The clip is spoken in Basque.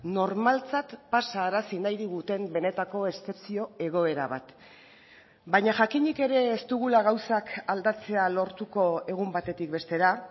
normaltzat pasarazi nahi diguten benetako eszepzio egoera bat baina jakinik ere ez dugula gauzak aldatzea lortuko egun batetik bestera